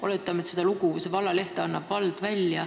Oletame, et seda vallalehte annab välja vald.